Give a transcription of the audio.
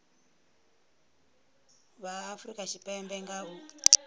vha afurika tshipembe nga u